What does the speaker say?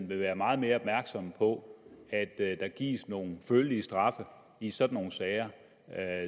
vil være meget mere opmærksom på at der gives nogle følelige straffe i sådan nogle sager